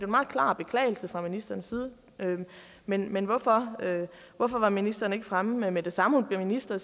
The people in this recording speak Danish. meget klar beklagelse fra ministerens side men men hvorfor hvorfor var ministeren ikke fremme med at sige med det samme hun blev minister